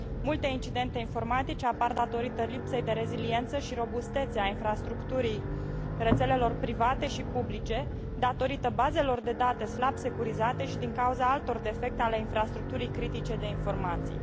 Multe incidente informatice apar datorită lipsei de reziliență și robustețe a infrastructurii rețelelor private și publice, a bazelor de date slab securizate și a altor defecte ale infrastructurii critice de informații.